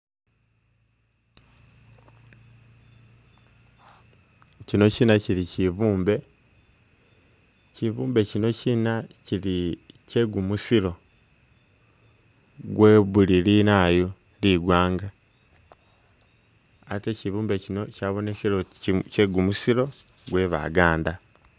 Kyino kyina kyili kyibumbe kyibumbe kyino kyina kyili kye gumusiro gwe buli ligwanga ate kyibumbe kyino kyabonekele oti kye’ gumusiro gwe Baganda.